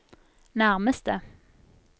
nærmeste